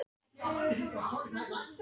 Urðu eitt í tímanum, þrátt fyrir öll árin.